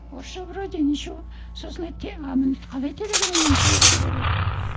орысша вроде ничего сосын айтты қалай телеграммамен жіберуге болады